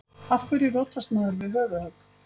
Af hverju rotast maður við höfuðhögg?